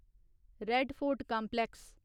red Fort complex